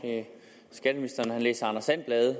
skatteministeren har læst anders and blade